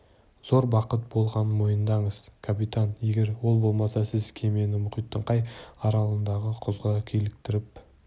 зор бақыт болғанын мойындаңыз капитан егер ол болмаса сіз кемені мұхиттың қай аралындағы құзға киліктіріп